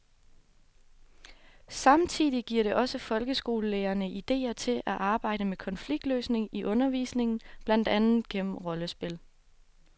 Samtidig giver det også folkeskolelærerne idéer til at arbejde med konfliktløsning i undervisningen, blandt andet gennem rollespil.